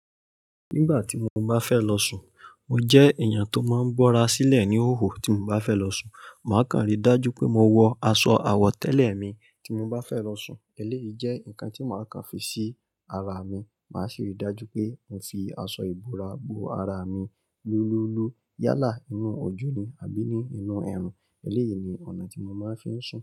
Nígbà tí mo bá fẹ́ lọ sùn, mo jẹ́ èèyàn tó máa ń gbọ́ra sílẹ̀ níhòhò. Tí mo bá fẹ́ lọ sùn, màá kàn rí dájú pé mo wọ aṣọ àwọ̀tẹ́lẹ̀ mi. Tí mo bá fẹ́ lọ sùn, eléyìí jẹ́ nǹkan tí màá kà fi sí ara mi. Màá ṣe ìdájú pé n fi aṣọ ìbora bo ara mi níúluúlú yálà inú ojú ni àbí ni inú ẹ̀rù. Eléyìí ni ọ̀nà tí mo máa ń fi sùn.